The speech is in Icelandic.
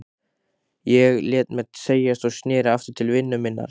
Ég lét mér segjast og sneri aftur til vinnu minnar.